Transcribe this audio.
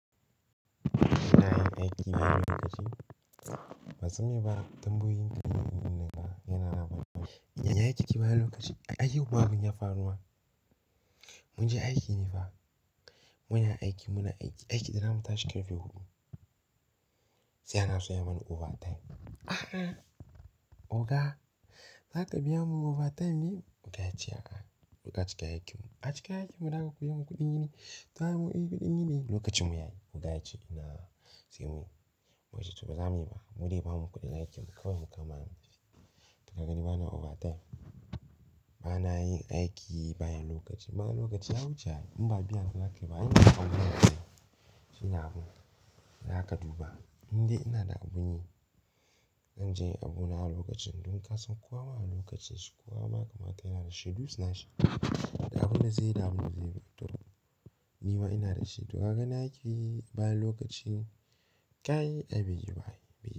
Ba na yin aiki bayan lokaci. Ba san me ba, tamboyoyin ku duk wannan yana labaru. Yi aiki bayan lokaci, aiki huƙan ya faru ma. Mun je aiki ne fa muna aiki, muna aiki. Aiki da za mu tashi karfe huɗu. Sai anaso ya bani overtime. Ahaa! Oga, za ka biya mu overtime ne? Oga ya ce a'a, ku cika aikin ku. A cika aikin mu, za ka ku yi ku kuɗi ne? Sa mu aiki ɗin ne lokacin mu yayi. Oga ya ce ina sai muyi. Mu ce to ba za muyi ba, mu je ba mu kuɗin aikin mu kawai mu kama. Duk da haka ni ba na overtime. Ba na yin aiki bayan lokaci. Bayan lokaci ya wuce in ba a biya ni zakai ba, ina abu na. Shina abu, za ka duba. Indai dai ina da abun yi. An je abu na lokacin. Don ka san kowa ma na lokaci shi. Kowa ma kamata yana da shi. Dutse na shi, da abun da zai yi da abun da zai tafi. Ni ma ina da shi. Duk da haka na aiki bayan lokaci, kai ai bai yi ba.